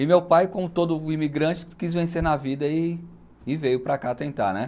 E meu pai, como todo imigrante, quis vencer na vida e e veio para cá tentar, né?